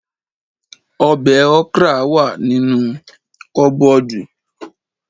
Ọbẹ̀ okra wà nínú kọ́bọ́ọ̀dù